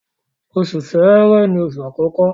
Oṣù Ṣẹ̀rẹ́ ni oṣù àkọkọ